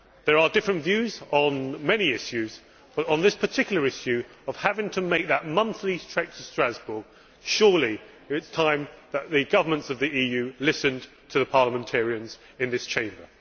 There are different views on many issues, but on this particular issue of having to make that monthly trek to Strasbourg, surely it is time that the governments of the EU listened to the parliamentarians in this Chamber.